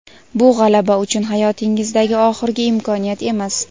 Bu – g‘alaba uchun hayotingizdagi oxirgi imkoniyat emas.